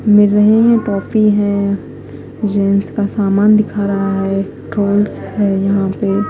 मिल रही है टॉफी है जेंट्स का सामान दिखा रहा है है यहाँ पे।